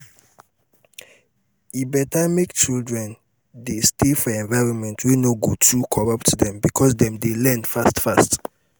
e better make children dey stay for environment wey no go too corrput dem because dem dey learn fast fast